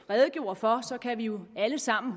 redegjorde for kan vi jo alle sammen